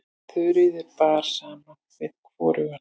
Þuríði bar saman við hvorugan.